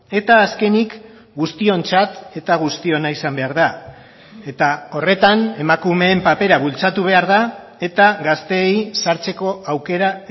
eta azkenik guztiontzat eta guztiona izan behar da eta horretan emakumeen papera bultzatu behar da eta gazteei sartzeko aukera